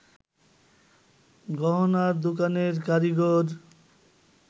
গহনার দোকানের কারিগর